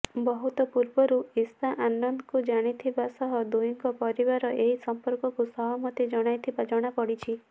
ବହୁତ ପୂର୍ବରୁ ଇଶା ଆନନ୍ଦଙ୍କୁ ଜାଣିଥିବା ସହ ଦୁହିଁଙ୍କ ପରିବାର ଏହି ସଂପର୍କକୁ ସହମତି ଜଣାଇଥିବା ଜଣା ପଡ଼ିଛି